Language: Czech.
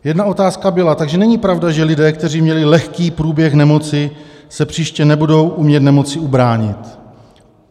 Jedna otázka byla: "Takže není pravda, že lidé, kteří měli lehký průběh nemoci, se příště nebudou umět nemoci ubránit?"